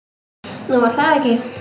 Nú, var það ekki?